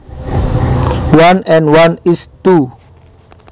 One and one is two